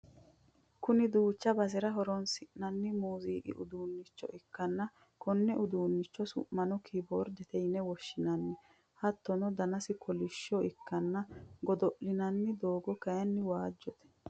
kuni duucha basera horonsi'nanni muuziiqu uduunnicho ikkanna konni uduunnichi su'mino keboordete yine woshshinanni, hattono danasi kolishsho ikkanna godo'linanni doogga kayiinni waajjote.